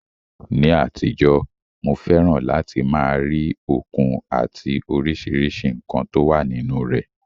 Ní àtijọ́, mo fẹ́ràn láti máa rí òkun àti oríṣiríṣi nǹkan tó wà nínú rẹ̀.